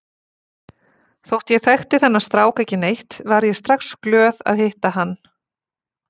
Þótt ég þekkti þennan strák ekki neitt varð ég strax glöð að hitta hann.